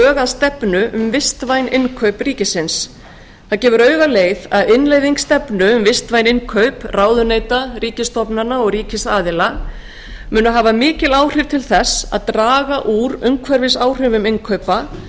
að stefnu um vistvæn innkaup ríkisins það gefur því augaleið að innleiðing stefnu um vistvæn innkaup ráðuneyta ríkisstofnana og ríkisaðila mun hafa mikil áhrif til þess að draga úr umhverfisáhrifum innkaupa